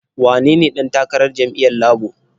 Wanene ɗan takarar jam'iyyar Labo?